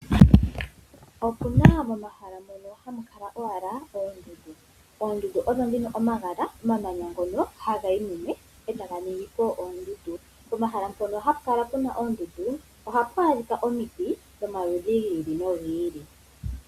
Opuna momahala mono hamu kala owala oondundu. Oondundu ogo omamanya ngono ha ga yi mumwe e ta ga ningi po oondundu. Pomahala mpono hapu kala oondundu ohapu adhika omiti dhomaludhi gi ili nogi ili.